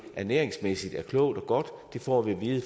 ernæringsmæssigt er klogt og godt for det får vi at vide